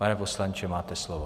Pane poslanče, máte slovo.